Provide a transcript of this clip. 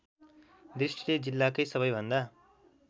दृष्टिले जिल्लाकै सबैभन्दा